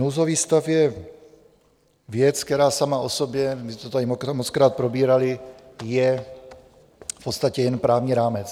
Nouzový stav je věc, která sama o sobě, už jsme to tady mockrát probírali, je v podstatě jen právní rámec.